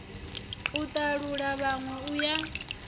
a talula vhanwe u ya